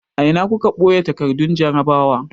A ina kuka ɓoye takardun jarrabawa?